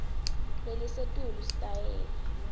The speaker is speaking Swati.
lelisetulu sitayela